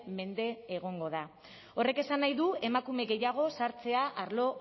mende egongo da horrek esan nahi du emakume gehiago sartzea arlo